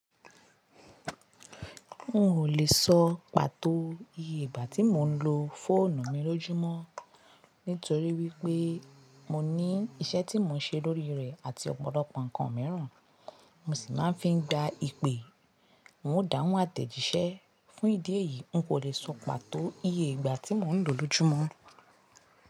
N ò le sọ pàtó iye ìgbà tí mo ń lo fóònù mi lójúmọ́ nítorí wípé mo ní iṣẹ́ tí mò ń ṣe lórí rẹ̀ àti ọ̀pọ̀lọpọ̀ nǹkan míràn mo sì máa ń fi gba ìpè. N o dáhùn àtẹ̀jíṣẹ́, fún ìdí èyí, n kò le sọ pàtó iye ìgbà tí mò ń lo lójúmọ́.